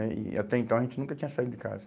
né? E até então a gente nunca tinha saído de casa.